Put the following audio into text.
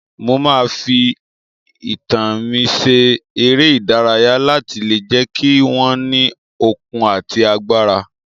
Mo máa fi itan mi ṣe eré ìdárayá láti lè jẹ́ kí wọ́n ní okun àti agbára